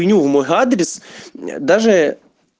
ню в мой адрес даже